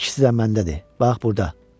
İkisi də məndədir, bax burda.